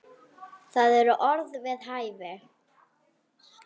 Það eru orð við hæfi.